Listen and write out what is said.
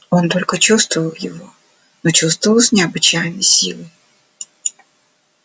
он только чувствовал его но чувствовал с необычайной силой